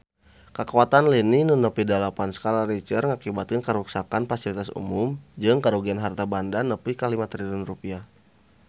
Kakuatan lini nu nepi dalapan skala Richter ngakibatkeun karuksakan pasilitas umum jeung karugian harta banda nepi ka 5 triliun rupiah